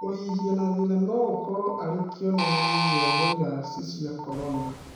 Kũhihia na thĩna nogũkorwo arĩ kĩonereria gĩa viraci cia Korona